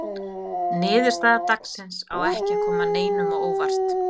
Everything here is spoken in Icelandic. Niðurstaða dagsins á ekki að koma neinum á óvart.